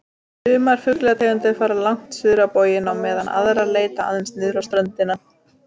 Sumar fuglategundir fara langt suður á boginn á meðan aðrar leita aðeins niður á ströndina.